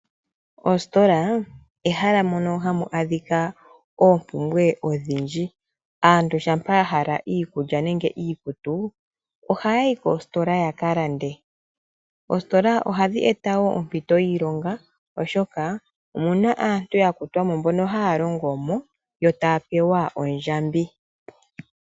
Oositola ehala mono hamu adhika oompumbwe odhindji. Aantu shampa yahala iikulya nenge iikutu oha yayi koositola yakalande . Oositola ohadhi eta woo ompito yiilonga oshoka omuna aantu ya kutwamo mbono haya longomo yo taya pewa ondjambi.